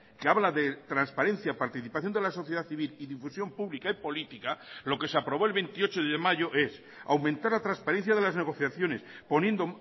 que habla de transparencia participación de la sociedad civil y difusión pública y política lo que se aprobó el veintiocho de mayo es aumentar la transparencia de las negociaciones poniendo